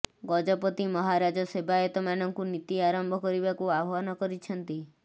ଗଜପତି ମହାରାଜ ସେବାୟତମାନଙ୍କୁ ନୀତି ଆରମ୍ଭ କରିବାକୁ ଆହ୍ବାନ କରିଛନ୍ତି